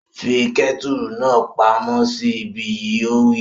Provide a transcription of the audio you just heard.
Fi kẹ́tùrù náà pa món sí ibí yìí! Ó wí